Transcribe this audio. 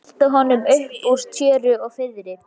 Velta honum upp úr tjöru og fiðri!